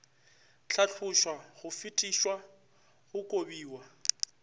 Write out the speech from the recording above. hlatlošwa go fetišwa go kobiwa